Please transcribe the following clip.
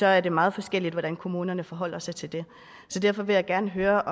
er det meget forskelligt hvordan kommunerne forholder sig til det så derfor vil jeg gerne høre